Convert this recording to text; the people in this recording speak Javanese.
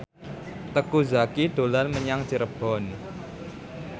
Teuku Zacky dolan menyang Cirebon